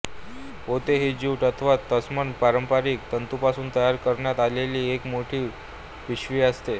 पोते ही ज्यूट अथवा तत्सम पारंपारिक तंतूंपासून तयार करण्यात आलेली एक मोठी पिशवी असते